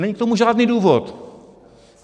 Není k tomu žádný důvod.